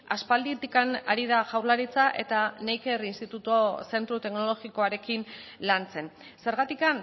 aspalditik ari da jaurlaritza eta neiker institutu zentro teknologikoarekin lantzen zergatik